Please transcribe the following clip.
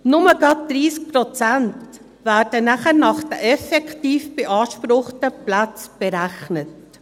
Gerade nur 30 Prozent werden dann nach den effektiv beanspruchten Plätzen berechnet.